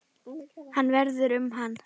Hvað verður um hann?